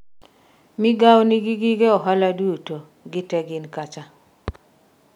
migawono nigi gige ohala duto, gite gin kacha